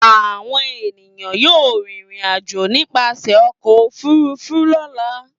Àwọn ènìyàn yóò rìnrìn-àjò nípasẹ̀ ọkọ̀-òfurufú lọ́la.